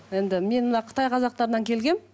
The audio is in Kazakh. енді мен мына қытай қазақтарынан келгенмін